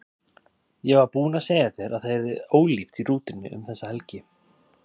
Ég var búin að segja þér að það yrði ólíft í rútunni um þessa helgi.